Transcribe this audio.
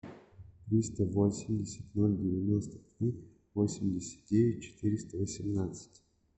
триста восемьдесят ноль девяносто три восемьдесят девять четыреста восемнадцать